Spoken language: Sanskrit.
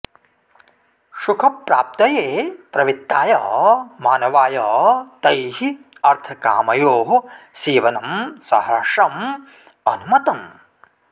सुखप्राप्तये प्रवृत्ताय मानवाय तैः अर्थकामयोः सेवनं सहर्षम् अनुमतम्